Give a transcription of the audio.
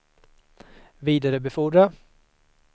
vidarebefordra